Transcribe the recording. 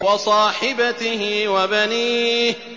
وَصَاحِبَتِهِ وَبَنِيهِ